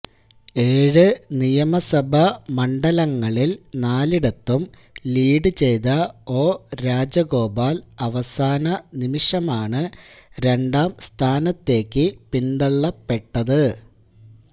ഏഴ് നിയമസഭാ മണ്ഡലങ്ങളില് നാലിടത്തും ലീഡ് ചെയ്ത ഒ രാജഗോപാല് അവസാന നിമിഷമാണ് രണ്ടാം സ്ഥാനത്തേക്ക് പിന്തള്ളപ്പെട്ടത്